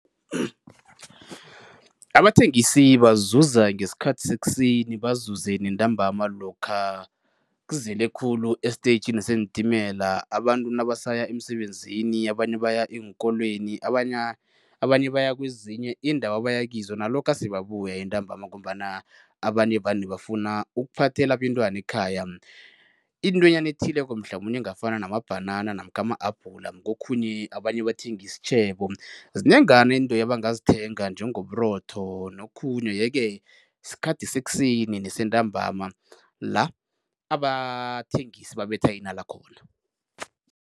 Abathengisi bazuza ngesikhathi ssekuseni bazuze nentambama lokha kuzele khulu estetjhini seentimela, abantu nabasaya emisebenzini, abanye baya eenkolweni, abanye baya kwezinye iindawo abaya kizo nalokha sebabuya entambama ngombana abanye vane bafuna ukuphathela abentwana ekhaya intwenyana ethileko mhlamunye engafana namabhanana namkha ama-abhula. Kokhunye abanye bathenga isitjhebo, zinengana into ebangazithenga njengoburotho nokhunye yeke sikhathi sekuseni nesentambama la abathengisi babetha inala khona.